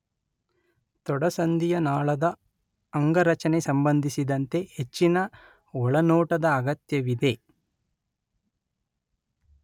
ತೊಡೆಸಂದಿಯ ನಾಳದ ಅಂಗರಚನೆ ಸಂಬಂಧಿಸಿದಂತೆ ಹೆಚ್ಚಿನ ಒಳನೋಟದ ಅಗತ್ಯವಿದೆ.